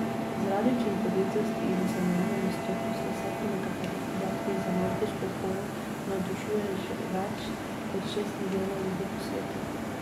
Zaradi učinkovitosti in cenovne dostopnosti se po nekaterih podatkih za nordijsko hojo navdušuje že več kot šest milijonov ljudi po svetu.